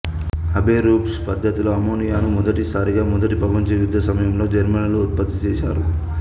Haber-Bosch పద్ధతిలో అమ్మోనియాను మొదటి సారిగా మొదటి ప్రపంచ యుద్ధ సమయంలో జర్మనీలో ఉత్పత్తి చేసారు